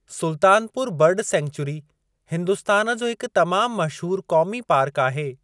Sultanpur bird sanctuary Hindustan जो हिकु तमामु मशहूर क़ौमी पार्क आहे।